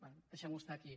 bé deixem·ho estar aquí